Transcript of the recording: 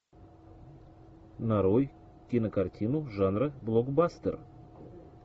нарой кинокартину жанра блокбастер